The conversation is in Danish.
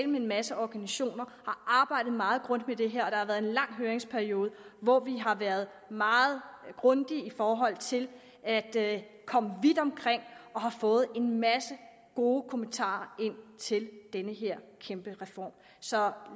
med en masse organisationer arbejdet meget grundigt med det her og har været en lang høringsperiode hvor vi har været meget grundige i forhold til at at komme vidt omkring og har fået en masse gode kommentarer til den her kæmpe reform så